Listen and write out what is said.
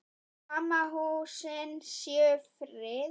Sum húsin séu friðuð.